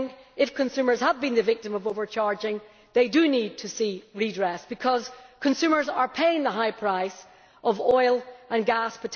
If consumers have been the victims of overcharging they do need to see redress because consumers are paying a high price for oil and gas.